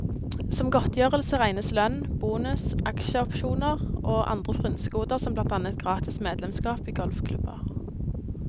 Som godtgjørelse regnes lønn, bonus, aksjeopsjoner og andre frynsegoder som blant annet gratis medlemskap i golfklubber.